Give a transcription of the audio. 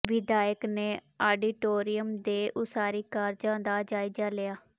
ਵਿਧਾਇਕ ਨੇ ਆਡੀਟੋਰੀਅਮ ਦੇ ਉਸਾਰੀ ਕਾਰਜਾਂ ਦਾ ਜਾਇਜ਼ਾ ਲਿਆ